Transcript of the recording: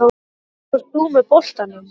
Starfar þú með boltanum?